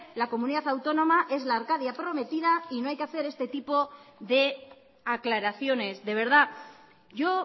la comunidad autónoma es la arcadia prometida y no hay que hacer este tipo de aclaraciones de verdad yo